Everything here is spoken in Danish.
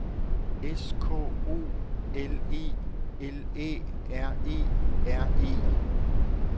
S K O L E L Æ R E R E